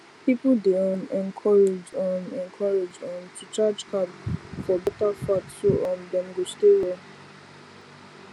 people dey um encouraged um encouraged um to change carb for better fat so um dem go stay well